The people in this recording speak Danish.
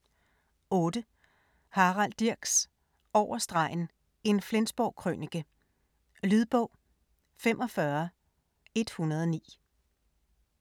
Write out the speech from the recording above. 8. Dirks, Harald: Over stregen - en Flensborg-krønike Lydbog 45109